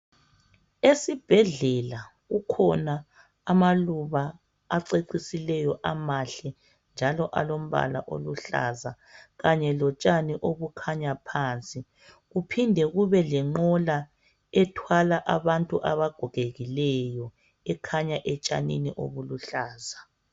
Esibhedlela kukhona amaluba acecisileyo amahle njalo alombala oluhlaza kanye lotshani obukhanya phansi. Kuphinde kube lenqola ethwala abantu abagogekileyo ekhanya etshanini obuluhlaza.